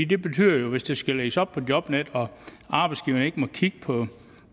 det betyder jo hvis det skal lægges op på jobnet og arbejdsgiverne ikke må kigge på